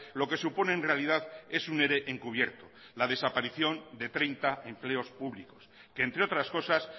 lo que supone en realidad es un ere encubierto la desaparición de treinta empleos públicos que entre otras cosas